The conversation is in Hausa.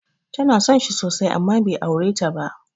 Ta so shi sosai amma bai aure ta ba.